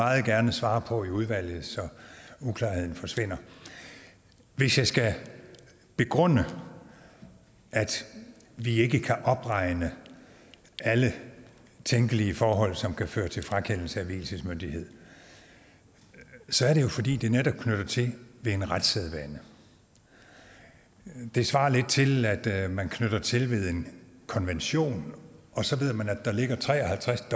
meget gerne svare på i udvalget så uklarheden forsvinder hvis jeg skal begrunde at vi ikke kan opregne alle tænkelige forhold som kan føre til frakendelse af vielsesmyndighed så er det jo fordi det netop knytter an til en retssædvane det svarer lidt til at man knytter an til en konvention og så ved man at der ligger tre og halvtreds